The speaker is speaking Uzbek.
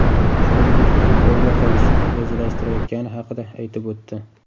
Shuningdek, futbolga qaytishni rejalashtirayotgani haqida aytib o‘tdi.